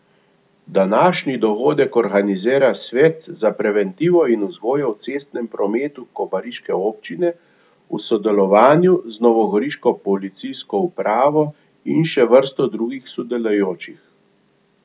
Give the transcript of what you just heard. Današnji dogodek organizira Svet za preventivo in vzgojo v cestnem prometu kobariške občine v sodelovanju z novogoriško policijsko upravo in še vrsto drugih sodelujočih.